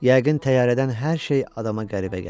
Yəqin təyyarədən hər şey adama qəribə gəlir.